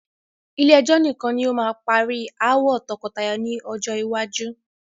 Ilé ẹjọ́ nìkan ni ó máa ma parí ááwọ̀ tọkọtaya lọ́jọ́ iwájú.